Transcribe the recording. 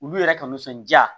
Olu yɛrɛ ka nisɔndiya